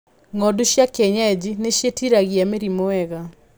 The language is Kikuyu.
Ng'ondu cia kienyeji nĩciĩtiragia mĩrimũ wega.